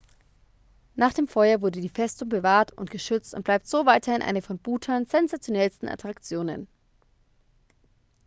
nach dem feuer wurde die festung bewahrt und geschützt und bleibt so weiterhin eine von bhutans sensationellsten attraktionen